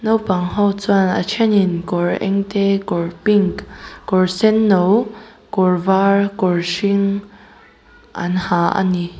naupang ho chuan a thenin kawr eng te kawr pink kawr senno kawr var kawr hring an ha a ni.